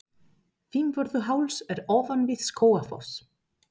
Fimmvörðuháls er ofan við Skógafoss.